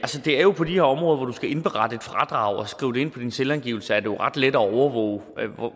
det er jo på de her områder hvor du skal indberette et fradrag og skrive ind på din selvangivelse at det jo er ret let at overvåge